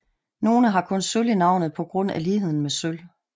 Nogle har kun sølv i navnet på grund af ligheden med sølv